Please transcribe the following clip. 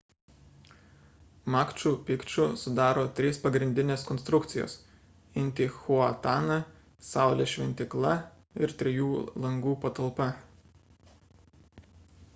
makču pikču sudaro 3 pagrindinės konstrukcijos intihuatana saulės šventykla ir trijų langų patalpa